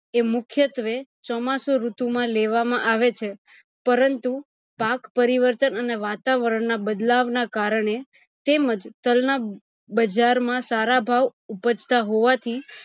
એ મુખ્યત્વે ચોમાસું ઋતુ માં લેવામાં આવે છે પરંતુ પાક પરિવર્તન અને વાતાવરણ ના બદલાવ ના કારણે તેમજ તલ ના બજાર માં સારા ભાવ ઉભજતા હોવાથી